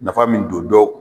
Nafa min don dɔw